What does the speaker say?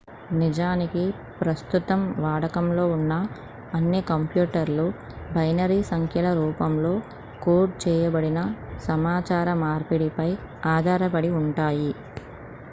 నిజానికి ప్రస్తుతం వాడకంలో ఉన్న అన్ని కంప్యూటర్లు బైనరీ సంఖ్యల రూపంలో కోడ్ చేయబడిన సమాచార మార్పిడిపై ఆధారపడి ఉంటాయి